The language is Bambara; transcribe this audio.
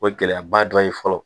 O ye gɛlɛyaba dɔ ye fɔlɔ